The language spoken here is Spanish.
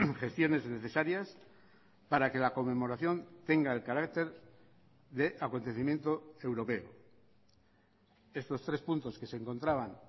gestiones necesarias para que la conmemoración tenga el carácter de acontecimiento europeo estos tres puntos que se encontraban